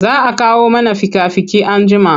Za a kawo mana fika-fiki anjima.